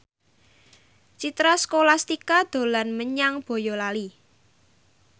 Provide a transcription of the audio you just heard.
Citra Scholastika dolan menyang Boyolali